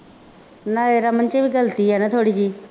ਨਾ ਇਹ ਰਮਨ ਦੀ ਵੀ ਗਲਤੀ ਆ ਨਾ ਥੋੜ੍ਹੀ ਜਿਹੀ